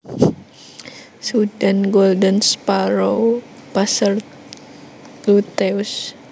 Sudan Golden Sparrow Passer luteus